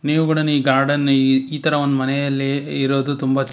ಇವುಗಡನು ಈ ಗಾರ್ಡನ್ ಇ ಈ ತರ ಒನ್ ಮನೆಯಲ್ಲಿ ಇರೋದು ತುಂಬಾ--